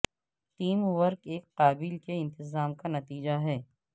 team work ایک قابل کے انتظام کا نتیجہ ہے